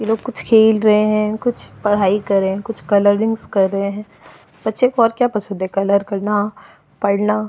ये कुछ खेल रहे हैं कुछ पढ़ाई कर रहे हैं कुछ कलरिंग्स कर रहे हैं बच्चे को और क्या पसंद हैं कलर करना पढ़ना।